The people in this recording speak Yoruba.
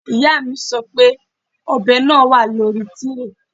Ìyá mi sọ pé ọ̀bẹ náà wà lórí tíréè